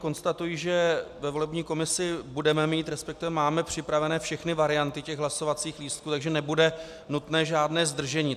Konstatuji, že ve volební komisi budeme mít, respektive máme připravené všechny varianty těch hlasovacích lístků, takže nebude nutné žádné zdržení.